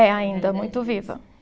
É ainda, muito viva.